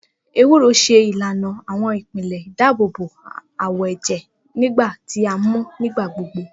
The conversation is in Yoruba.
Ewúro n ṣe ilana awọn ipele idaabobo awọ ẹjẹ nigba ti a mu nigbagbogbo.